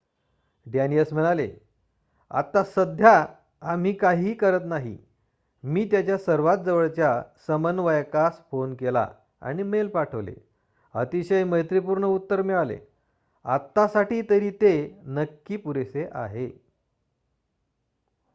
"डॅनीयस म्हणाले "आत्ता सध्या आम्ही काहीही करत नाही. मी त्याच्या सर्वात जवळच्या समन्वयकास फोन केला आणि मेल पाठवले अतिशय मैत्रीपूर्ण उत्तर मिळाले. आत्तासाठी तरी ते नक्की पुरेसे आहे.""